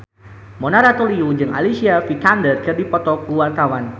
Mona Ratuliu jeung Alicia Vikander keur dipoto ku wartawan